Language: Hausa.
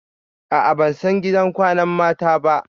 A'a, ban san gidan kwanan mata ba.